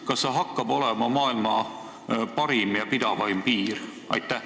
Kas see hakkab olema maailma parim ja pidavaim piir?